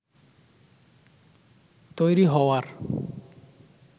তৈরি হওয়ার